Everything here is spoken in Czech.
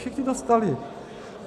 Všichni dostali.